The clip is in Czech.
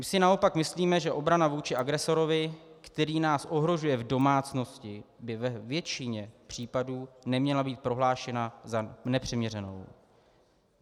My si naopak myslíme, že obrana vůči agresorovi, který nás ohrožuje v domácnosti, by ve většině případů neměla být prohlášena za nepřiměřenou.